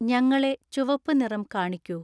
ഞങ്ങളെ ചുവപ്പ് നിറം കാണിക്കൂ